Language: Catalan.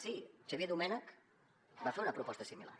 sí xavier domènech va fer una proposta similar